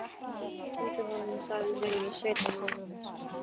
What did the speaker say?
Fylgdi honum sæl heim í sveitina hans.